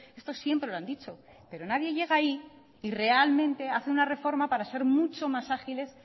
esto siempre lo han dicho pero nadie llega ahí y realmente hace una reforma para ser mucho más ágiles